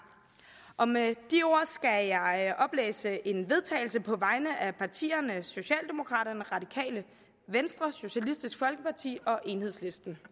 og med de ord skal jeg oplæse et vedtagelse på vegne af partierne socialdemokraterne radikale venstre socialistisk folkeparti og enhedslisten